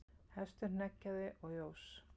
Hestur hneggjaði og jós.